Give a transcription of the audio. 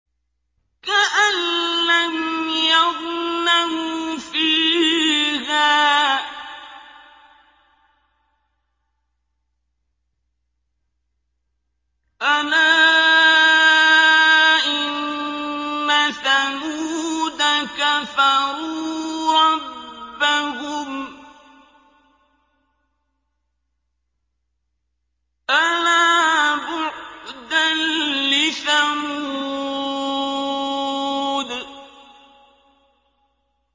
كَأَن لَّمْ يَغْنَوْا فِيهَا ۗ أَلَا إِنَّ ثَمُودَ كَفَرُوا رَبَّهُمْ ۗ أَلَا بُعْدًا لِّثَمُودَ